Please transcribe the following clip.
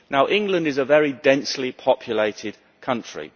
England is a very densely populated country.